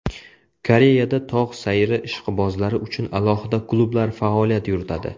Koreyada tog‘ sayri ishqibozlari uchun alohida klublar faoliyat yuritadi.